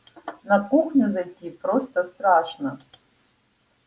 на кухню зайти просто страшно